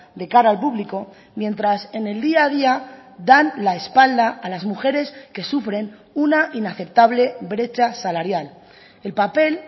de cara al público mientras en el día a día dan la espalda a las mujeres que sufren una inaceptable brecha salarial el papel